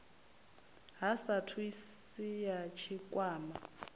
ha sapu asi ya tshikwama